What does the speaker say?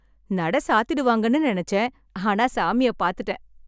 நட சாத்திடுவாங்கனு நெனைச்சேன். ஆனா சாமிய பாத்திட்டேன்!